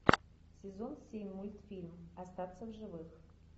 сезон семь мультфильм остаться в живых